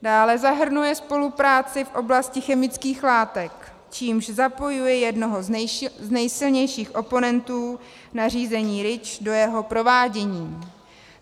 Dále zahrnuje spolupráci v oblasti chemických látek, čímž zapojuje jednoho z nejsilnějších oponentů na řízení REACH do jeho provádění.